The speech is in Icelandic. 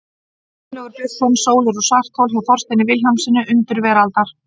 Gunnlaugur Björnsson, Sólir og svarthol, hjá Þorsteini Vilhjálmssyni, Undur veraldar.